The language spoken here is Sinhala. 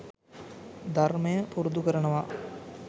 ධර්මය පුරුදු කරනවා.